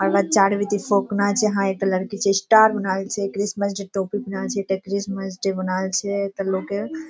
आहां के चार बजे छै हाँ एकटा लड़की छै स्टार बनाएल छै क्रिसमस डे टोपी पिन्हाइल छै एकटा क्रिसमस डे बनाएल छै एकटा लोग के --